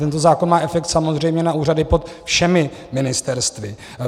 Tento zákon má efekt samozřejmě na úřady pod všemi ministerstvy.